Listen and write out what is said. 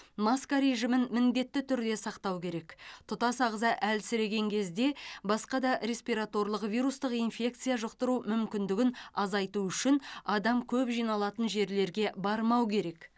маска режимін міндетті түрде сақтау керек тұтас ағза әлсіреген кезде басқа да респираторлық вирустық инфекция жұқтыру мүмкіндігін азайту үшін адам көп жиналатын жерлерге бармау керек